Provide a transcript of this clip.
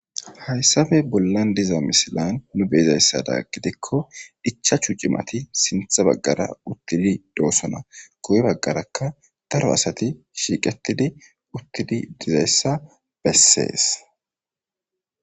hayssafe bollan diza misilan nu bezayssadag gidikko dichachu cimati sintha baggara uttidi doosona goy baggaraka daro asati shiiqetidi uttidi dizayssa bessees